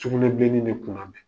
Kɛnɛma denni ne kunnabɛn.